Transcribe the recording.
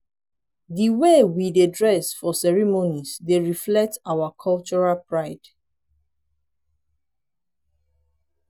di way we dey dress for ceremonies dey reflect our cultural pride.